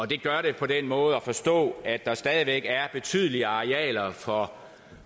det gør det på den måde at forstå at der stadig væk er betydelige arealer for